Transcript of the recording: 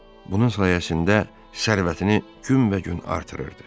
Bunun sayəsində sərvətini günbəgün artırırdı.